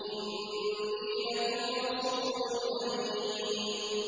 إِنِّي لَكُمْ رَسُولٌ أَمِينٌ